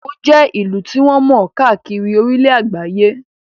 Èkó jẹ́ ìlú tí wọ́n mọ̀ káàkiri orílẹ̀ àgbáyé